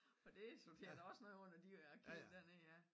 For det det er da også noget under de arkiver dér ja